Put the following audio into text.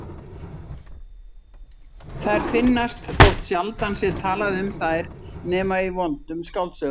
Þær finnast þótt sjaldan sé talað um þær nema í vondum skáldsögum.